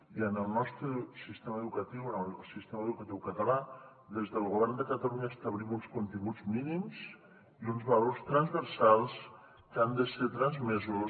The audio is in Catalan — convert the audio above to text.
i en el nostre sistema educatiu en el sistema educatiu català des del govern de catalunya establim uns continguts mínims i uns valors transversals que han de ser transmesos